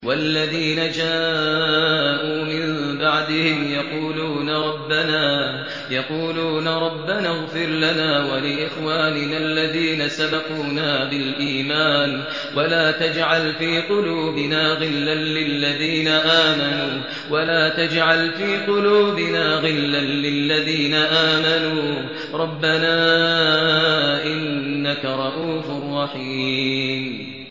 وَالَّذِينَ جَاءُوا مِن بَعْدِهِمْ يَقُولُونَ رَبَّنَا اغْفِرْ لَنَا وَلِإِخْوَانِنَا الَّذِينَ سَبَقُونَا بِالْإِيمَانِ وَلَا تَجْعَلْ فِي قُلُوبِنَا غِلًّا لِّلَّذِينَ آمَنُوا رَبَّنَا إِنَّكَ رَءُوفٌ رَّحِيمٌ